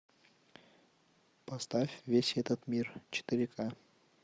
поставь весь этот мир четыре ка